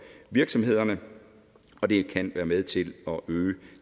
virksomhederne og det kan være med til at øge